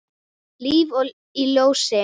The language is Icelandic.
Líf í ljósi.